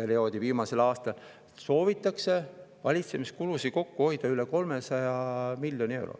perioodi viimasel aastal – soovitakse valitsemiskulusid kokku hoida üle 300 miljoni euro.